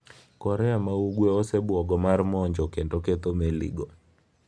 Korea ma Ugwe osebuogo mar monjo kendo ketho meligo.